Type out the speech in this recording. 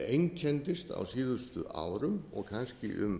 einkenndist á síðustu árum og kannski